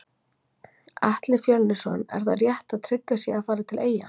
Atli Fjölnisson Er það rétt að Tryggvi sé að fara til eyja?